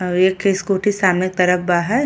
औ एकखे स्कूटी सामने तरफ बा है।